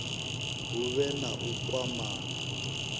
hu vhe na u kwamana